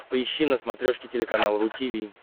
поищи на смотрешке телеканал ру ти ви